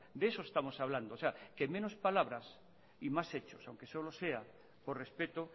de eso estamos hablando o sea que menos palabras y más hechos aunque solo sea por respeto